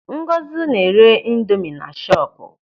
Ngozi na-ere indomi na shọpu.